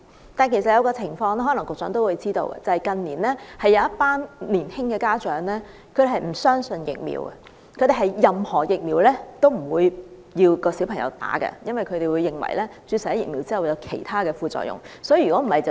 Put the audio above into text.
此外，有一個情況局長可能也知道，即近年有一群年輕的家長不相信疫苗，不讓小朋友注射任何疫苗，因為他們認為注射疫苗後會有其他副作用。